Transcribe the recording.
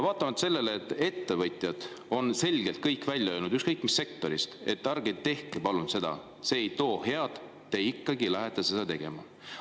Vaatamata sellele, et kõik ettevõtjad on selgelt välja öelnud, ükskõik mis sektorist, et ärge palun tehke seda, see ei too head, te ikkagi lähete seda tegema.